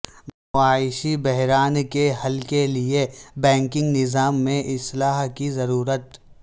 معاشی بحران کے حل کے لیے بینکنگ نظام میں اصلاح کی ضرورت